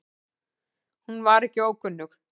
Hún var ekki ókunnug